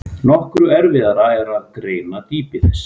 Nokkru erfiðara er að greina dýpi þess.